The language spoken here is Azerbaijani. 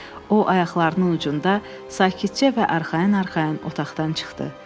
O, ayaqlarının ucunda sakitcə və arxayın-arxayın otaqdan çıxdı.